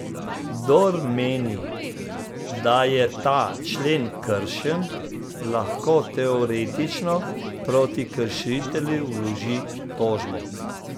Kdor meni, da je ta člen kršen, lahko teoretično proti kršitelju vloži tožbo.